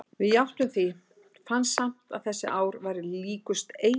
Við játtum því, fannst samt að þessi ár væru líkust eilífð.